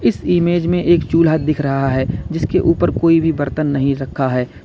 इस इमेज में एक चूल्हा दिख रहा है जिसके ऊपर कोई भी बर्तन नहीं रखा है।